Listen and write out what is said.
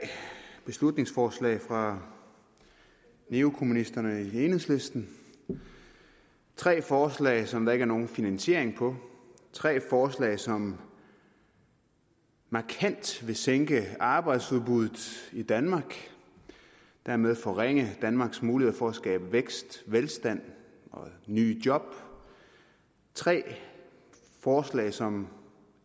beslutningsforslag fra neokommunisterne i enhedslisten tre forslag som der ikke nogen finansiering på tre forslag som markant vil sænke arbejdsudbuddet i danmark og dermed forringe danmarks muligheder for at skabe vækst velstand og nye job tre forslag som